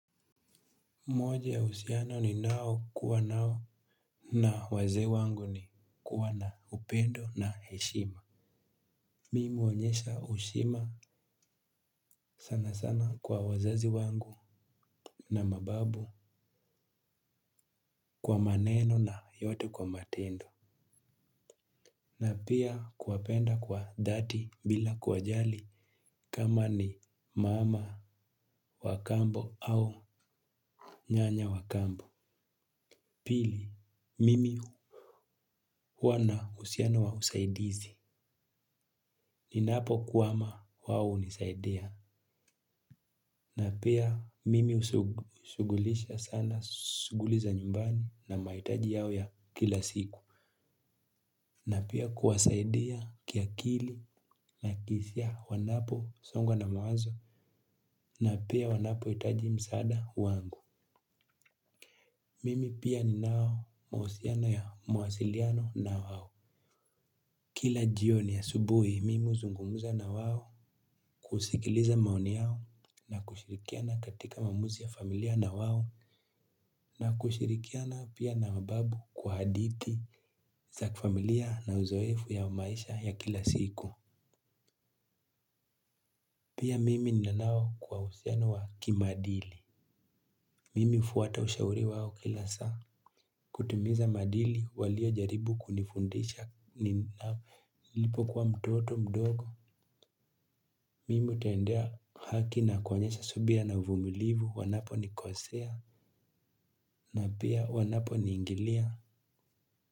Moje ya uhusiano ninaokuwa nao na wazee wangu ni kuwa na upendo na heshima. Mimi huonyesha heshima sana sana kwa wazazi wangu na mababu kwa maneno na yote kwa matendo. Na pia kuwapenda kwa dhati bila kuwajali kama ni mama wa kambo au nyanya wa kambo. Pili, mimi huwa na uhusiano wa usaidizi. Ninapokwama wao hunisaidea. Na pia mimi ushughulisha sana shughuli za nyumbani na mahitaji yao ya kila siku. Na pia kuwasaidia kiakili na hisia wanaposongwa na mawazo. Na pia wanapohitaji msaada wangu. Mimi pia ninayo mawasiliano na wao. Kila jioni asubuhi, mimi huzungumza na wao kusikiliza maoni yao na kushirikiana katika maamuzi ya familia na wao na kushirikiana pia na mababu kwa hadithi za kifamilia na uzoefu ya maisha ya kila siku. Pia mimi ninao uhusiano wa kimaadili. Mimi hufuata ushauri wao kila saa. Kutimiza maadili waliojaribu kunifundisha nilipokuwa mtoto mdogo mimi hutendea haki na kuonyesha subira na uvumilivu wanaponikosea na pia wanaponiingilia.